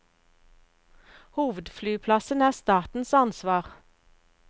Hovedflyplassen er statens ansvar.